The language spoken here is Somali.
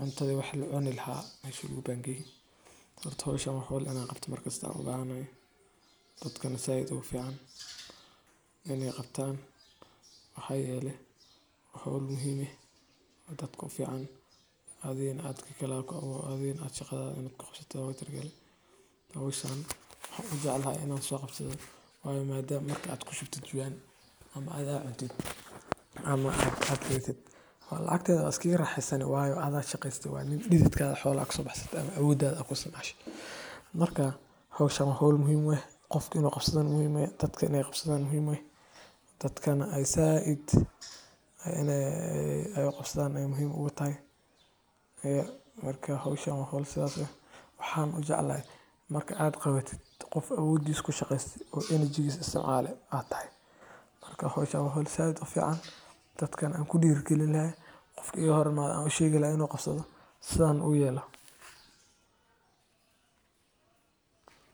cuntadi lacuni laha meshi lagu bangeyegalleyda la soo guro, waa marxalad muhiim ah oo ka mid ah howlaha beeraleyda, gaar ahaan marka dalagga bislaado. Galleyda marka la gooyay waxay u baahan tahay in si taxaddar leh loo furo, loo qalajiyo, loona keydiyo si aysan u qabsan caaryo, cayayaan ama inay waxyeello gaarto. Inta badan galleyda la goostay ayaa lagu furaa goob bannaan ama dhul sare ah oo qoraxdu gaarto, halkaas oo loo fidiyo si ay si fiican u qalasho. Qalajinta kaddib, waxaa loo diyaariyaa in loo isticmaalo cunto ahaan, la iibiyo suuqyada ,qabsadho oo sidhan u yelo.